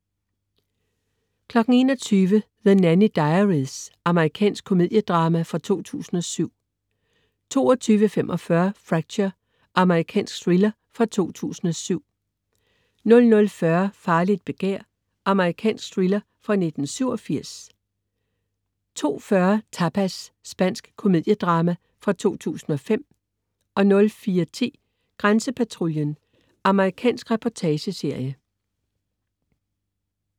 21.00 The Nanny Diaries. Amerikansk komedie-drama fra 2007 22.45 Fracture. Amerikansk thriller fra 2007 00.40 Farligt begær. Amerikansk thriller fra 1987 02.40 Tapas. Spansk komedie-drama fra 2005 04.10 Grænsepatruljen. Amerikansk reportageserie